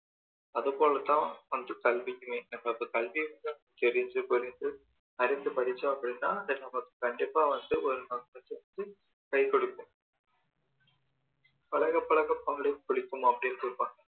அது போல தான் வந்து கல்வியுமே நம்ம வந்து கல்விய வந்து தெரிந்து புரிந்து அறிந்து படிச்சோம் அப்படின்னா அது நமக்கு கண்டிப்பா வந்து ஒரு கஷ்டத்துல கை கொடுக்கும் பழக பழக பாலும் புளிக்கும் அப்படின்னு சொல்லுவாங்க